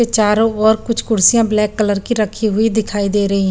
चारो ओर कुछ कुर्सिया ब्लैक कलर की रखी हुई दिखाई दे रही हैं।